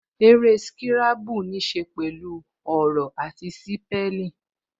Eré sírábù ní ṣe pẹ̀lú ọ̀rọ̀ àti sípẹ́lìn